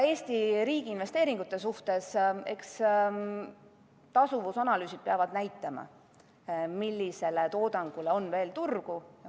Eesti riigi investeeringute suhtes peavad tasuvusanalüüsid näitama, millisele toodangule on veel turgu.